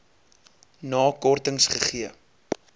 na kortings gegee